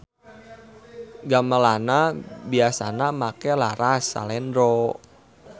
Gamelanna biasana make laras salendro.